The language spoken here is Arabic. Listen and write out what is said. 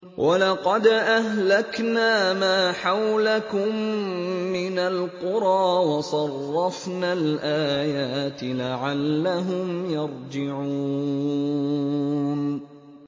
وَلَقَدْ أَهْلَكْنَا مَا حَوْلَكُم مِّنَ الْقُرَىٰ وَصَرَّفْنَا الْآيَاتِ لَعَلَّهُمْ يَرْجِعُونَ